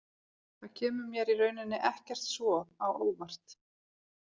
Það kemur mér í rauninni ekkert svo á óvart.